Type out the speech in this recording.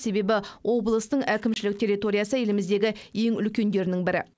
себебі облыстың әкімшілік территориясы еліміздегі ең үлкендерінің бірі